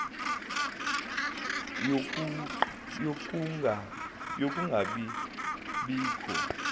yokunga bi bikho